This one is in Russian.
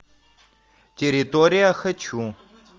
территория хочу